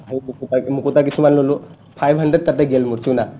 সেই মুকুতা মুকুতা কিছুমান ললো five hundred তাতে গে'ল চুণা